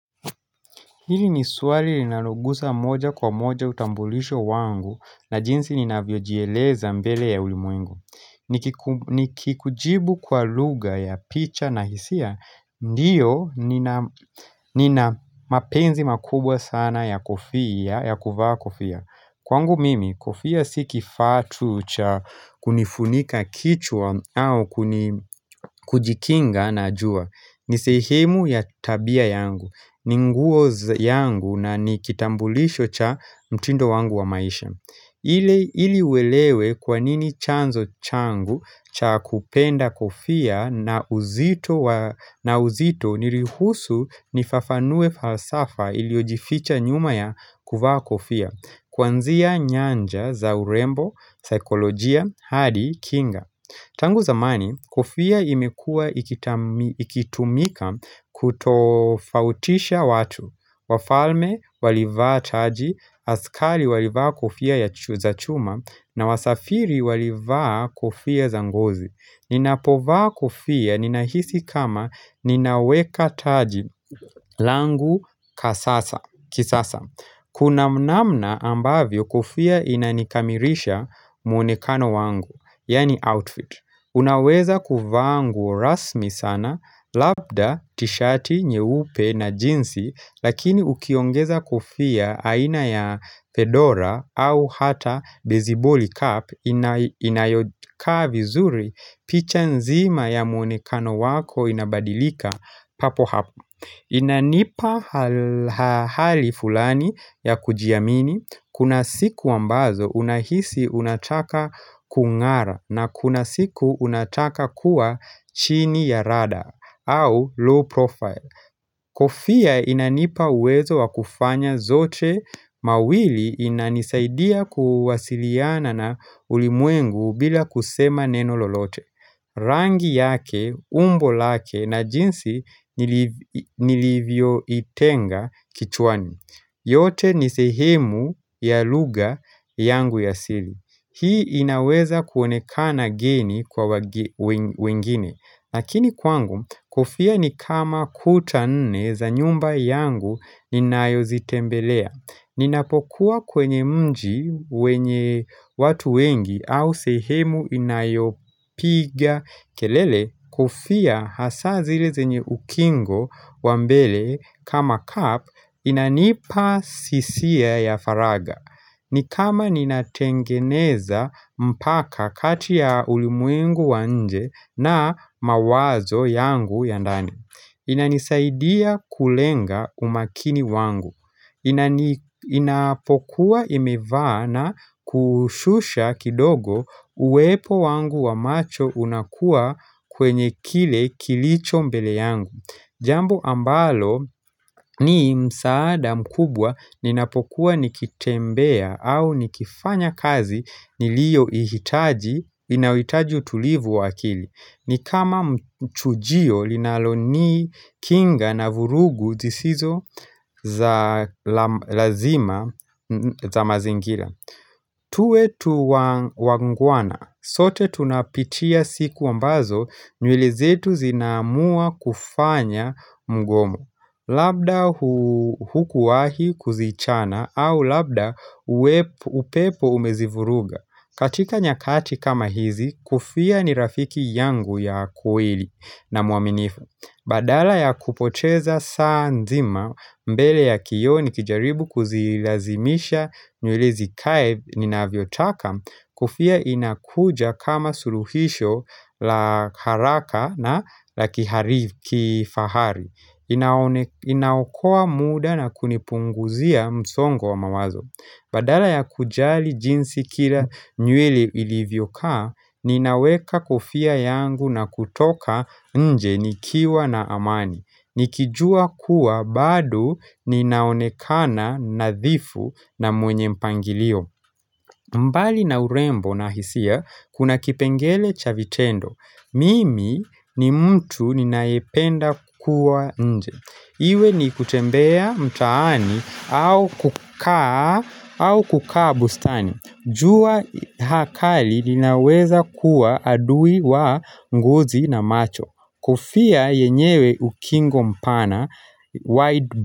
Hili niswali linalo gusa moja kwa moja utambulisho wangu na jinsi ninavyo jieleza mbele ya ulimwengu. Nikikujibu kwa lugha ya picha na hisia, ndiyo nina mapenzi makubwa sana ya kofia, ya kuvaa kofia. Kwangu mimi, kofia si kifaa tu cha kunifunika kichwa au kuni kujikinga na jua. Ni sehemu ya tabia yangu. Ni nguo yangu na nikitambulisho cha mtindo wangu wa maisha ili uelewe kwanini chanzo changu cha kupenda kofia na uzito niruhusu nifafanue falsafa iliojificha nyuma ya kuvaa kofia Kuanzia nyanja za urembo, saikolojia, hadi, kinga Tangu zamani, kofia imekua ikitumika kutofautisha watu. Wafalme walivaa taji, askali walivaa kofia za chuma, na wasafiri walivaa kofia za ngozi. Ninapovaa kofia ninahisi kama ninaweka taji langu kisasa Kuna mnamna ambavyo kofia inanikamirisha mwonekano wangu, yani outfit Unaweza kuvaa nguo rasmi sana, labda, tishati, nyeupe na jinsi Lakini ukiongeza kofia aina ya pedora au hata beziboli cup inayokaa vizuri picha nzima ya mwonekano wako inabadilika papo hapo Inanipa hali fulani ya kujiamini kuna siku ambazo unahisi unataka kungara na kuna siku unataka kuwa chini ya radar au low profile Kofia inanipa uwezo wakufanya zote mawili inanisaidia kuwasiliana na ulimwengu bila kusema neno lolote. Rangi yake, umbo lake na jinsi nilivyo itenga kichwani. Yote nisehemu ya lugha yangu ya asili. Hii inaweza kuonekana geni kwa wengine. Lakini kwangu, kofia ni kama kuta nne za nyumba yangu ninayo zitembelea. Ninapokuwa kwenye mji wenye watu wengi au sehemu inayopiga. Kelele, kofia hasa zile zenye ukingo wa mbele kama kapu inanipa sisia ya faraga. Ni kama ninatengeneza mpaka kati ya ulimwengu wa nje na mawazo yangu ya ndani inanisaidia kulenga umakini wangu Inapokuwa imevaa na kushusha kidogo uwepo wangu wa macho unakua kwenye kile kilicho mbele yangu Jambo ambalo ni msaada mkubwa ninapokuwa nikitembea au nikifanya kazi nilio ihitaji inawitaji utulivu wa akili Nikama mchujio linaloni kinga na vurugu zisizo za lazima za mazingira tuwe tu wangwana. Sote tunapitia siku ambazo nywele zetu zina amua kufanya mgomo. Labda hukuwahi kuzichana au labda upepo umezivuruga. Katika nyakati kama hizi, kofia ni rafiki yangu ya kweli na mwaminifu. Badala ya kupoteza saa nzima mbele ya kio ni kijaribu kuzilazimisha nywele zikae ninavyotaka kofia inakuja kama suluhisho la haraka na la kihari kifahari inaokoa muda na kunipunguzia msongo wa mawazo Badala ya kujali jinsi kila nywele ilivyo kaa, ninaweka kofia yangu na kutoka nje nikiwa na amani. Nikijua kuwa bado ninaonekana nadhifu na mwenye mpangilio. Mbali na urembo na hisia, kuna kipengele cha vitendo. Mimi ni mtu ninaependa kukua nje. Iwe ni kutembea mtaani au kukaa bustani. Jua hakali linaweza kuwa adui wa ngozi na macho. Kofia yenyewe ukingo mpana.